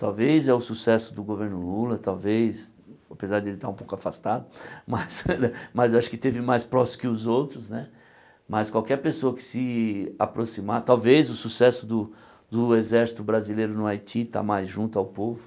Talvez é o sucesso do governo Lula, talvez, apesar de ele estar um pouco afastado, mas mas eu acho que esteve mais próximo que os outros né, mas qualquer pessoa que se aproximar, talvez o sucesso do do Exército Brasileiro no Haiti está mais junto ao povo.